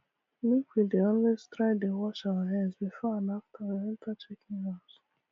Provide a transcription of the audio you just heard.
make we dey always try dey wash our hand before and after we enter chicken house